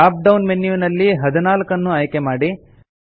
drop down ಮೆನ್ಯುವಿನಲ್ಲಿ 14 ನ್ನು ಆಯ್ಕೆ ಮಾಡಿ